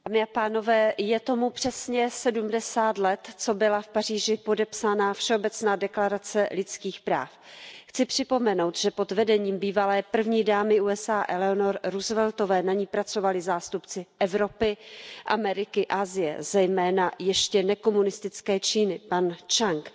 Paní předsedající, je tomu přesně sedmdesát let, co byla v Paříži podepsána Všeobecná deklarace lidských práv. Chci připomenout, že pod vedením bývalé první dámy Spojených států amerických Eleanor Rooseveltové na ní pracovali zástupci Evropy, Ameriky a Asie, zejména ještě nekomunistické Číny, pan Čchang.